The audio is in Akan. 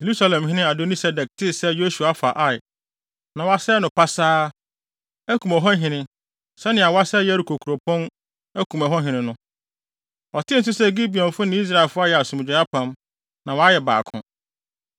Yerusalemhene Adoni-Sedek tee sɛ Yosua afa Ai na wasɛe no pasaa, akum ɛhɔ hene, sɛnea wasɛe Yeriko kuropɔn akum ɛhɔ hene no. Ɔtee nso sɛ Gibeonfo ne Israelfo ayɛ asomdwoe apam, na wɔayɛ baako.